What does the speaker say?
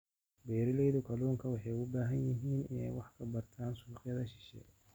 Beeralayda kalluunka waxa ay u baahan yihiin in ay wax ka bartaan suuqyada shisheeye.